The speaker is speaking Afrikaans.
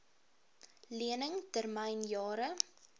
lening termyn jare